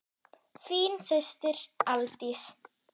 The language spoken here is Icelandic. Þín systir, Aldís.